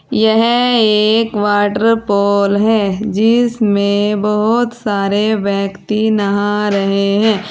यह एक वॉटरफॉल है जिसमें बहोत सारे व्यक्ति नहा रहे हैं।